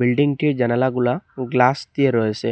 বিল্ডিংটির জানালাগুলা গ্লাস দিয়ে রয়েসে